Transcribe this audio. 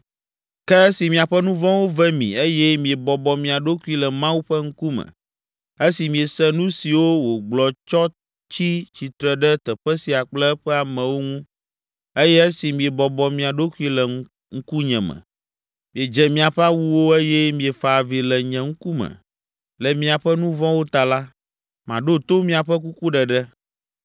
Ke esi miaƒe nu vɔ̃wo ve mi eye miebɔbɔ mia ɖokui le Mawu ƒe ŋkume, esi miese nu siwo wògblɔ tsɔ tsi tsitre ɖe teƒe sia kple eƒe amewo ŋu eye esi miebɔbɔ mia ɖokui le ŋkunye me, miedze miaƒe awuwo eye miefa avi le nye ŋkume le miaƒe nu vɔ̃wo ta la, maɖo to miaƒe kukuɖeɖe.